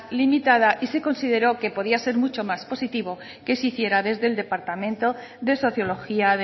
limitada y se consideró que podía ser mucho más positivo que si hiciera desde el departamento de sociología